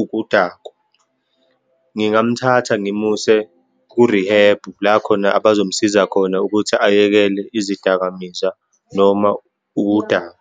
ukudakwa. Ngangamthatha ngimuse kurihebhu, la khona abazomsiza khona, ukuthi ayekele izidakamizwa noma ukudakwa.